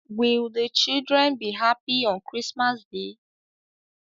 Will the children be happy on Christmas day?